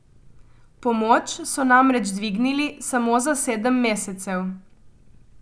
Pomoč so namreč dvignili samo za sedem mesecev.